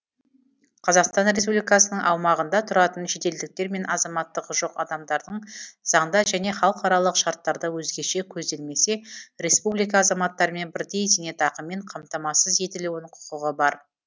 қазақстан республикасының аумағында тұратын шетелдіктер мен азаматтығы жоқ адамдардың заңда және халықаралық шарттарда өзгеше көзделмесе республика азаматтарымен бірдей зейнетақымен қамтамасыз етілуіне құқығы бар